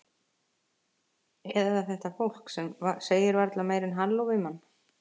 Eða þetta fólk sem segir varla meira en halló við mann.